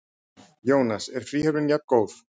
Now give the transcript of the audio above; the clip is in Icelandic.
Jónas: Er fríhöfnin jafngóð?